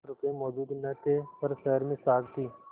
रुपये मौजूद न थे पर शहर में साख थी